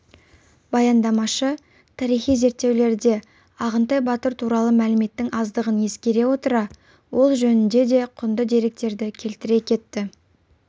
баяндамашы тарихи зерттеулерде ағынтай батыр туралы мәліметтің аздығын ескере отыра ол жөнінде де құнды деректерді келтіре кетті